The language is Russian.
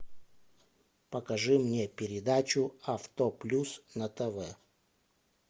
покажи мне передачу авто плюс на тв